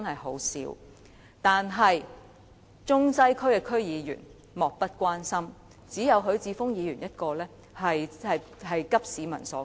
可是，中西區區議員卻莫不關心，只有許智峯議員一人急市民所急。